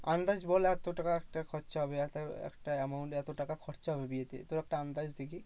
আন্দাজ বল এত টাকা একটা খরচা হবে। এত একটা amount এত টাকা হবে বিয়েতে তোর একটা আন্দাজ দেখি?